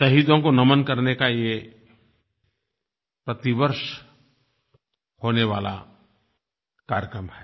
शहीदों को नमन करने का ये प्रतिवर्ष होने वाला कार्यक्रम है